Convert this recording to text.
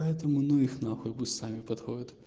поэтому ну их нахуй пусть сами подходят